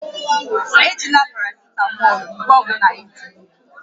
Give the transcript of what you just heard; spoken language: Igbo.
Ejila parasitamọọlụ mgbe ọ bụla ị dị ime